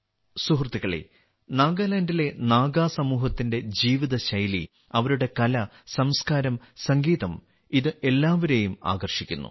സുഹൃത്തുക്കളേ നാഗാലാൻഡിലെ നാഗാ സമൂഹത്തിന്റെ ജീവിതശൈലി അവരുടെ കല സംസ്കാരം സംഗീതം ഇത് എല്ലാവരെയും ആകർഷിക്കുന്നു